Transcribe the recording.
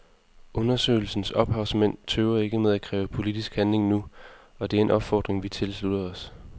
Undersøgelsens ophavsmænd tøver ikke med at kræve politisk handling nu, og det er en opfordring vi tilslutter os.